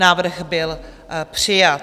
Návrh byl přijat.